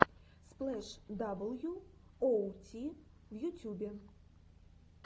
сплэш дабл ю оу ти в ютюбе